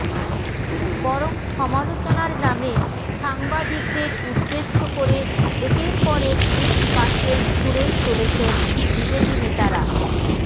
বরং সমালোচনার নামে সাংবাদিকদের উদ্দেশ করে একের পর এক ইট পাটকেল ছুঁড়েই চলেছেন বিজেপি নেতারা